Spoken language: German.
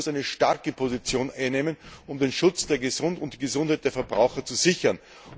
Die EU muss eine starke Position einnehmen, um den Schutz und die Gesundheit der Verbraucher zu sichern.